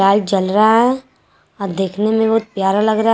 Light जल रहा है अ देखने में बहुत प्यारा लग रहा है।